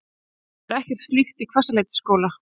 Það er ekkert slíkt í Hvassaleitisskóla